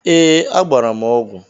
Ee. Agbara m ọgwu